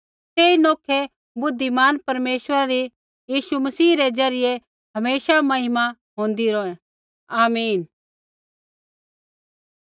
तेई नौखै बुद्धिमान परमेश्वरा री यीशु मसीह री ज़रियै हमेशा महिमा होंदै रौहै आमीन